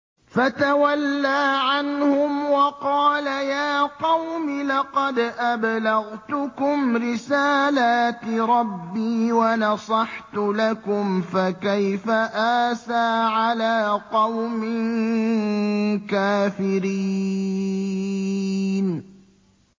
فَتَوَلَّىٰ عَنْهُمْ وَقَالَ يَا قَوْمِ لَقَدْ أَبْلَغْتُكُمْ رِسَالَاتِ رَبِّي وَنَصَحْتُ لَكُمْ ۖ فَكَيْفَ آسَىٰ عَلَىٰ قَوْمٍ كَافِرِينَ